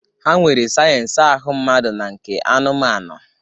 Ha nwere sayensị ahụ mmadụ na nke anụmanụ.